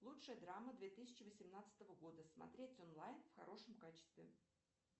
лучшая драма две тысячи восемнадцатого года смотреть онлайн в хорошем качестве